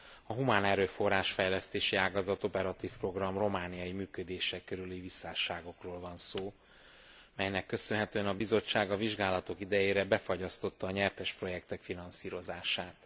A humánerőforrás fejlesztési ágazat operatív program romániai működése körüli visszásságokról van szó, melynek köszönhetően a Bizottság a vizsgálatok idejére befagyasztotta a nyertes projektek finanszírozását.